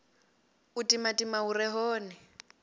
u timatima hu re hone